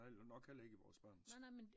Realt nok heller ikke i vores børns